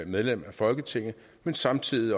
medlem af folketinget men samtidig